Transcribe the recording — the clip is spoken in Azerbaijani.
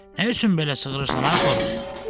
Nə üçün belə cığırısan ay xoruz?